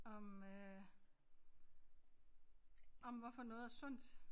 Om øh om hvorfor noget er sundt